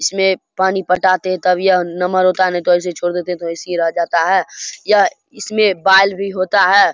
इसमे पानी पटाते है तब यह नम्हर होता हैं नही तो ऐसे छोड़ देते है तो ऐसिये रह जाता है यह इसमे बाल भी होता हैं।